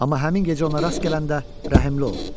Amma həmin gecə ona rast gələndə rəhimli ol.